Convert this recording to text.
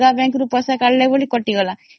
ସେ ଅଲଗା bank ରୁ ବୋଲି କଟିଗଲା